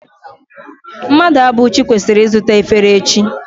Mmadụabụchi kwesiri izuta efere echi